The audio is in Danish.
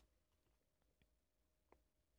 TV 2